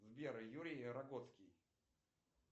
сбер юрий рогоцкий